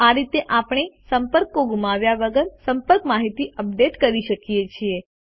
આ રીતે આપણે સંપર્ક ગુમાવ્યા વગર સંપર્ક માહિતી અપડેટ કરી શકીએ છીએ